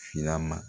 Filama